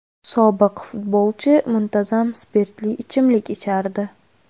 Sobiq futbolchi muntazam spirtli ichimlik ichardi.